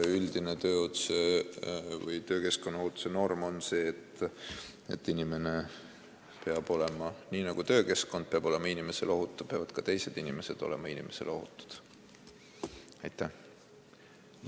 Aga üldine töökeskkonnaohutuse norm on see, et nii nagu töökeskkond peab olema inimesele ohutu, niisamuti peavad ka teised inimesed talle ohutud olema.